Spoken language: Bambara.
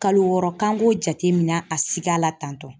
Kalo wɔɔrɔ k'an k'o jate minɛ a sika la tantɔ.